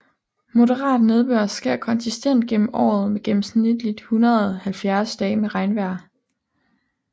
Moderat nedbør sker konsistent gennem året med gennemsnitligt 170 dage med regnvejr